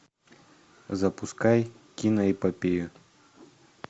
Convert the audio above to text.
запускай киноэпопею